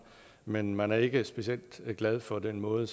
men man er ikke specielt glad for den måde